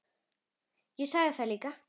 Ég sagði það líka.